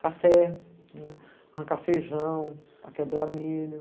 café, arrancar feijão, quebrar milho.